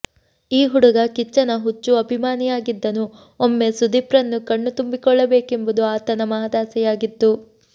ಈ ಹುಡುಗ ಕಿಚ್ಚನ ಹುಚ್ಚು ಅಭಿಮಾನಿಯಾಗಿದ್ದನು ಒಮ್ಮೆ ಸುದೀಪ್ ರನ್ನು ಕಣ್ಣು ತುಂಬಿಕೊಳ್ಳಬೇಕೆಂಬುದು ಆತನ ಮಹಾದಾಸೆಯಾಗಿತ್ತು